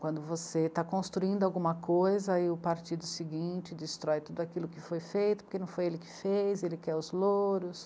Quando você está construindo alguma coisa e o partido seguinte destrói tudo aquilo que foi feito porque não foi ele que fez, ele quer os louros.